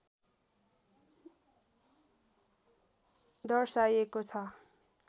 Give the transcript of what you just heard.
दर्शाइएको छ